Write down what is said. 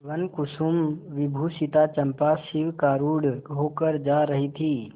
वनकुसुमविभूषिता चंपा शिविकारूढ़ होकर जा रही थी